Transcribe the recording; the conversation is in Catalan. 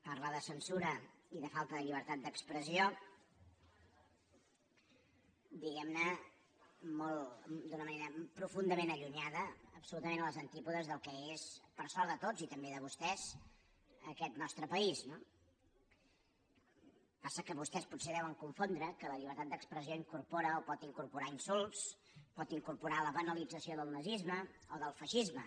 parla de censura i de falta de llibertat d’expressió diguem·ne d’una manera profundament allunyada absolutament a les antípodes del que és per sort de tots i també de vostès aquest nostre país no passa que vostès potser deuen confondre que la llibertat d’expressió incorpora o pot incorporar insults pot incorporar la banalització del nazisme o del feixisme